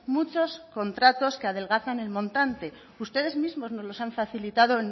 muchos contratos que adelgazan el montante ustedes mismos nos los han facilitado